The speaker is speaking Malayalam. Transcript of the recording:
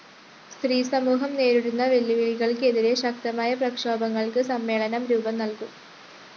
സ്ത്രീസമൂഹം നേരിടുന്ന വെല്ലുവിളികള്‍ക്ക് എതിരെ ശക്തമായ പ്രക്ഷോഭങ്ങള്‍ക്ക് സമ്മേളനം രൂപംനല്‍കും